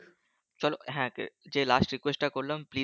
চলো হ্যা যে লাস্ট request টা করলাম please